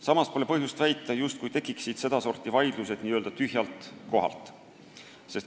Samas pole põhjust väita, et sedasorti vaidlused tekivad tühjalt kohalt.